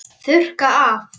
Þurrka af.